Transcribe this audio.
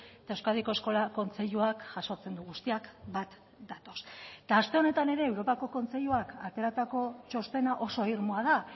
eta euskadiko eskola kontseiluak jasotzen du guztiak bat datoz eta aste honetan ere europako kontseiluak ateratako txostena oso irmoa da